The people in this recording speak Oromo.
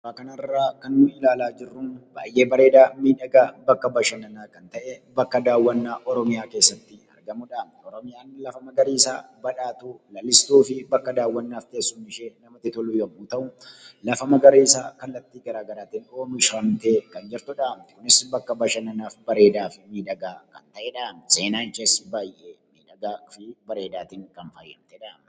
Suuraa kanarraa kan nuti ilaalaa jirru baay'ee bareedaa miidhagaa bakka bashanannaa kan ta’e bakka daawwannaa Oromiyaa keessatti argamudhaam. Lafa magariisaa, lalistuu, badhaatuu fi teessumni ishee daawwannaaf kan namatti tolu yommuu ta'u, lafa magariisaa kallattii gara garaatiin oomishamtee kan jirtudhaam. Akkasumas bakka bashannanaaf bareedaafi miidhagaa kan ta’edhaam. Seenaan ishees baay'ee miidhagaa fi bareedaadhaan kan faayamtedhaam.